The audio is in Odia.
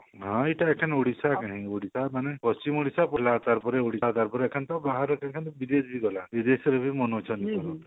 ହଁ ଏଟା ଏଖାନେ ଓଡିଶା କାହିଁ ଓଡିଶା ମାନେ ପଶ୍ଚିମଓଡିଶା ତାର ପରେ ଓଡିଶା ତାର ପରେ ଏଖାନେ ତ ବାହାର ବିଦେଶ ଗଲା ବିଦେଶରେ ବି ମନୋଉଛନ୍ତି